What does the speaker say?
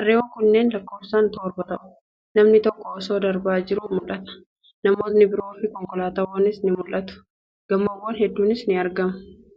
Harreewwan kunneen lakkoofsaan torba ta'u. Namni tokko osoo darbaa jiruu mul'ata. Namootni biroofi konkolaatawwan ni mul'atu. Gamoowwan hedduunis ni argamu.